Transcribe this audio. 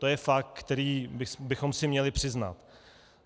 To je fakt, který bychom si měli přiznat.